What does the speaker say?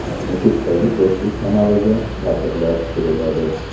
Nukusdagi Do‘stlik kanaliga katerlar tushiriladi.